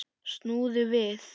Snúðu við!